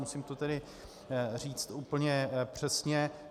Musím to tedy říct úplně přesně.